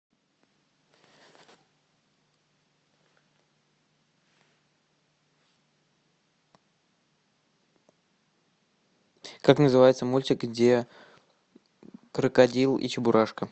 как называется мультик где крокодил и чебурашка